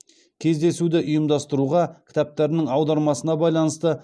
кездесуді ұйымдастыруға кітаптарының аудармасына байланысты